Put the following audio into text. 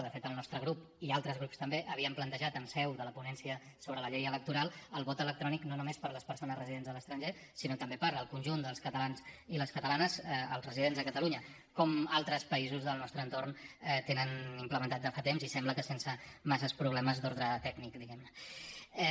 de fet el nostre grup i altres grups també havíem plantejat en seu de la ponència sobre la llei electoral el vot electrònic no només per a les persones residents a l’estranger sinó també per al conjunt dels catalans i les catalanes els residents a catalunya com altres països del nostre entorn el tenen implementat de fa temps i sembla que sense massa problemes d’ordre tècnic diguem ne